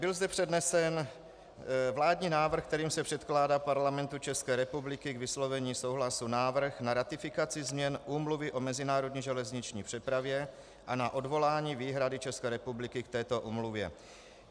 Byl zde přednesen vládní návrh, kterým se předkládá Parlamentu České republiky k vyslovení souhlasu návrh na ratifikaci změn Úmluvy o mezinárodní železniční přepravě a na odvolání výhrady České republiky k této úmluvě.